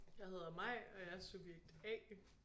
Jeg hedder Mai og jeg er subjekt A